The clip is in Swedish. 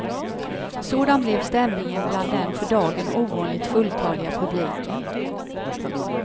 Sådan blev stämningen bland den för dagen ovanligt fulltaliga publiken.